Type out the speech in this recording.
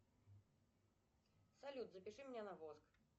салют запиши меня на воск